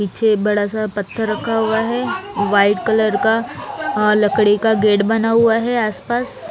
पीछे बड़ा सा पत्थर रखा हुआ है व्हाइट कलर का लकड़ी का गेट बना हुआ है आसपास।